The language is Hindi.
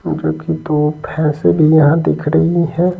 पूजा की तो भैंसे भी यहां दिख रही है।